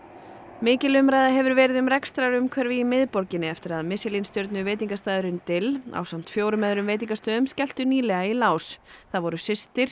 mikil umræða hefur verið um rekstrarumhverfi í miðborginni eftir að Michelin stjörnu veitingastaðurinn dill ásamt fimm öðrum veitingastöðum skelltu nýlega í lás það voru systir